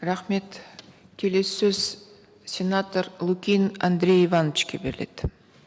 рахмет келесі сөз сенатор лукин андрей ивановичке беріледі